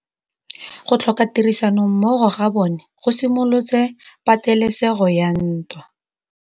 Go tlhoka tirsanommogo ga bone go simolotse patêlêsêgô ya ntwa.